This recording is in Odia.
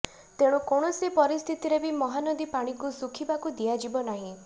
ତେଣୁ କୌଣସି ପରିସ୍ଥିତିରେ ବି ମହାନଦୀ ପାଣିକୁ ଶୁଖିବାକୁ ଦିଆଯିବ ନାହିଁ